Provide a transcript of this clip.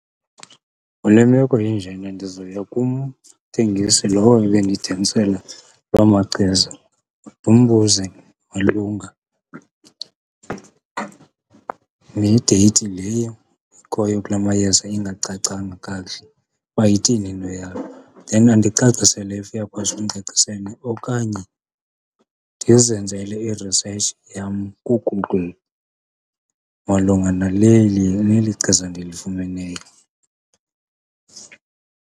Kule meko injena ndizoya kumthengisi lowo ebendithengisela loo machiza, ndimbuze makunga nedeyithi leyo ikhoyo kula mayeza ingacacanga kakuhle, ukuba ithini into yawo, then andicacisele if uyakwazi ukundicacisela. Okanye ndizenzele i-research yam kuGoogle malunga naleli, neli chiza ndilifumeneyo.